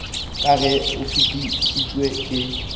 ka ge o fetišitšwe ke